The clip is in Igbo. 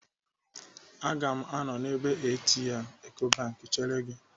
Aga m anọ n'ebe ATM Ecobank chere gị.